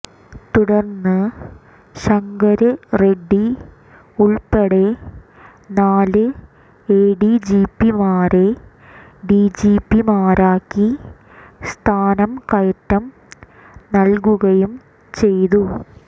തുടര്ന്ന് ശങ്കര് റെഡ്ഡി ഉള്പ്പടെ നാല് എഡിജിപിമാരെ ഡിജിപിമാരാക്കി സ്ഥാനം കയറ്റം നല്കുകയും ചെയ്തു